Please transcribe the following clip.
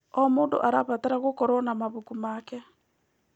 O mũndũ arabatara gũkorwo na mabuku make.